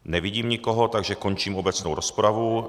Nevidím nikoho, takže končím obecnou rozpravu.